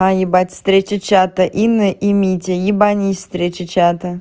а ебать встреча чата инна и митя ебанись встреча чата